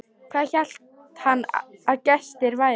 Hvað hélt hann að gestir væru?